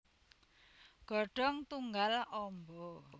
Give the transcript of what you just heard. Godhong tunggal amba